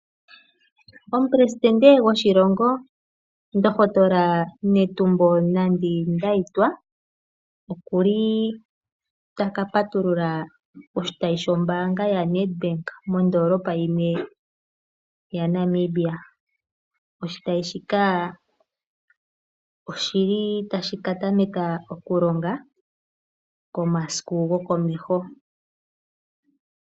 Omu pelesindende gwo shilongo ndokotola Netumbo Nandi Ndayitwa okuli taka patulula oshitayi shoo mbaanga ya Ned bank mondoolopa yimwe yaNamibia . Oshitayi shika oshili tashi ka patuluka komasiku go ko meho.